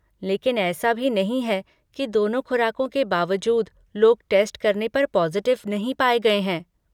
लेकिन ऐसा भी नहीं है कि दोनों खुराकों के बावजूद लोग टेस्ट करने पर पॉज़िटिव नहीं पाए गए हैं।